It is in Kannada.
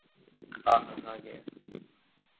ಆ ಹಾ ಹಾಗೆ.